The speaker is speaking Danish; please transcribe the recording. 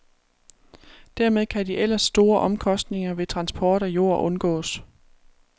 Dermed kan de ellers store omkostninger ved transport af jord undgås.